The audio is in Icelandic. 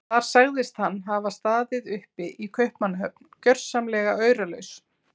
Þar sagðist hann hafa staðið uppi í Kaupmannahöfn gjörsamlega auralaus.